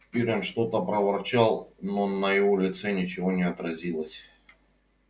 пиренн что-то проворчал но на его лице ничего не отразилось